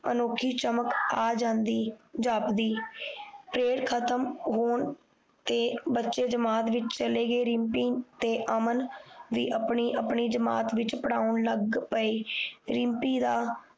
ਅਨੋਖੀ ਚਮਕ ਆ ਜਾਂਦੀ ਜਾਪਦੀ ਤੇ ਖਤਮ ਹੋਣ ਤੇ ਬੱਚੇ ਜਮਾਤ ਵਿੱਚ ਚਲੇ ਗਏ ਰਿਮਪੀ ਤੇ ਅਮਨ ਵੀ ਆਪਣੀ ਆਪਣੀ ਜਮਾਤ ਵਿੱਚ ਪੜ੍ਹਾਉਣ ਲੱਗ ਪਏ ਰਿਮਪੀ ਦਾ